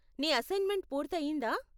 నీ అసైన్మెంట్ పూర్తి అయ్యిందా?